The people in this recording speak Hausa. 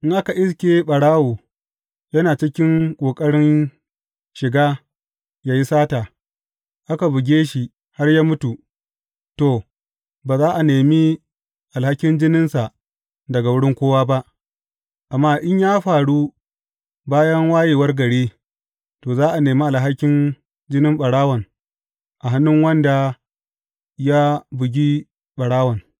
In aka iske ɓarawo yana cikin ƙoƙarin shiga yă yi sata, aka buge shi har ya mutu, to, ba za a nemi alhakin jininsa daga wurin kowa ba; amma in ya faru bayan wayewar gari, to, za a nemi alhakin jinin ɓarawon a hannun wanda ya bugi ɓarawon.